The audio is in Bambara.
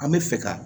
An bɛ fɛ ka